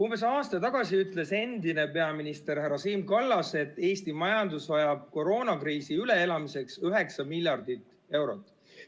Umbes aasta tagasi ütles endine peaminister härra Siim Kallas, et Eesti majandus vajab koroonakriisi üleelamiseks üheksa miljardit eurot.